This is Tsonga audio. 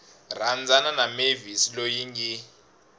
rhandzana na mavis loyi ngi